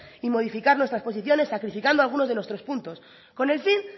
y modificar nuestras posiciones sacrificando algunos de nuestros puntos con el fin